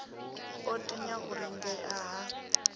o tinya u lingea ha